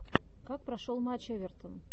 как прошел матч эвертон